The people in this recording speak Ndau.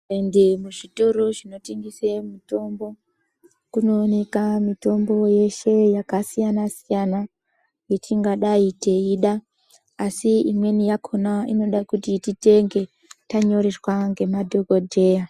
Ukaende zvitoro zvino tengese mitombo kunooneka mitombo yeshe yakasiyana siyana yatingadai teyiida asi imweni yakona inodakuti titenge tanyoreswa nemadhokodheya.